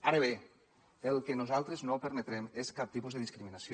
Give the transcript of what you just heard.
ara bé el que nosaltres no permetrem és cap tipus de discriminació